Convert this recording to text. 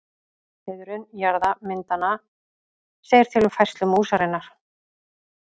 Hliðrun jaðra myndanna segir til um færslu músarinnar.